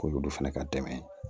K'olu fana ka dɛmɛ